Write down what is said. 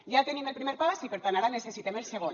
ja tenim el primer pas i per tant ara necessitem el segon